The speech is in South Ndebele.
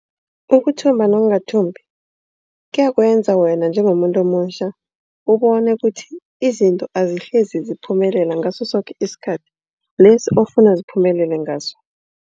Ukuthumba nokungathumbi kuyakwenza wena njengomuntu omutjha. Ubone ukuthi izinto azihlezi ziphumelela ngaso soke isikhathi lesi ofuna ziphumelele ngaso.